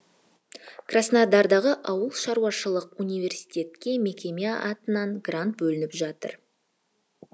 краснодардағы ауылшаруашылық университетке мекеме атынан грант бөлініп жатырмыз